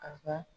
A ka